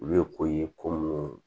Olu ye ko ye ko mun ye